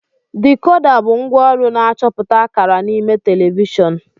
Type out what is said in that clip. Dekoda bụ ngwaọrụ na-achọpụta akara n'ime telivishọn.